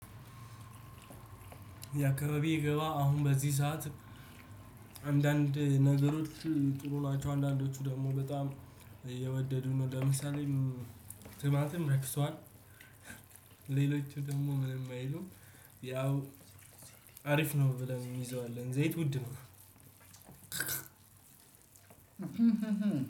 ደክሜ ቢገባ አሁን በዚህ ሰዓት አንዳንድ ነገሮች ጥሩ ጥሩ ናቸው። አንዳንዶቹ ደግሞ በጣም እየወደዱ ነው። ለምሳሌ ትማትም ረክቷል። ሌሎቹ ደግሞ ምንም አይሉም። ያው አሪፍ ነው። ብለን የሚይዘው አለን ዘይት ውድ ነው።